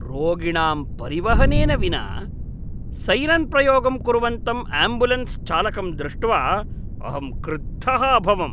रोगिणां परिवहनेन विना सैरन्प्रयोगं कुर्वन्तं आम्ब्युलेन्स् चालकं दृष्ट्वा अहं क्रुद्धः अभवम्।